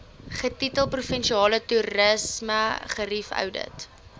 getitel provinsiale toerismegerieweoudit